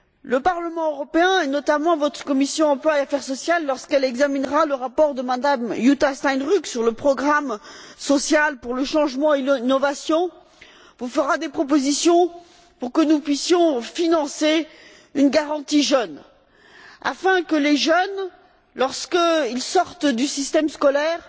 Le Parlement européen, et notamment votre commission de l'emploi et des affaires sociales, lorsqu'elle examinera le rapport de Mme Jutta Steinruck sur le programme social pour le changement et l'innovation, vous fera des propositions pour que nous puissions financer une garantie jeunes, afin que les jeunes, lorsqu'ils sortent du système scolaire